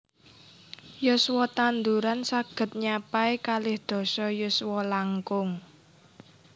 Yuswa tanduran saghed nyapai kalih dasa yuswa langkung